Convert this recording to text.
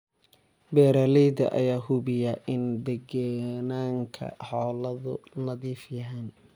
Beeralayda ayaa hubiya in deegaanka xoolahoodu nadiif yahay.